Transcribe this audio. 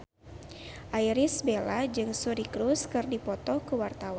Irish Bella jeung Suri Cruise keur dipoto ku wartawan